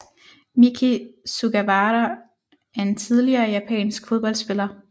Miki Sugawara er en tidligere japansk fodboldspiller